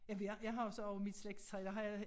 Ja for jeg jeg har så også mit slægtstræ der har jeg